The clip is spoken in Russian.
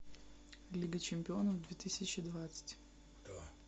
лига чемпионов две тысячи двадцать